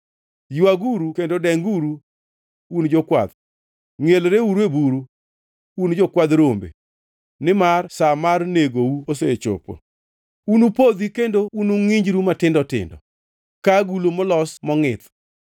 Ywaguru kendo denguru; un jokwath; ngʼielreuru e buru, un jokwadh rombe. Nimar sa mar negou osechopo; unupodhi kendo ungʼinjru matindo tindo, ka agulu molos mongʼith.